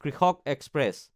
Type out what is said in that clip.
কৃষক এক্সপ্ৰেছ